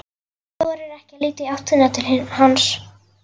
Þorir ekki að líta í áttina til hans.